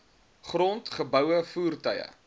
grond geboue voertuie